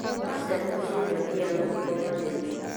Waceera mũcĩĩ ndũthiaga moko matheri